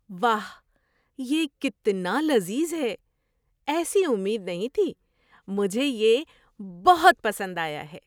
واہ! یہ کتنا لذیذ ہے، ایسی امید نہیں تھی۔ مجھے یہ بہت پسند آیا ہے۔